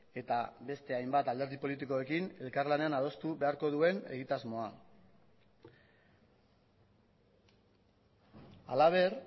eta beste hainbat alderdi politikoekin elkarlanean adostu beharko duen egitasmoa halaber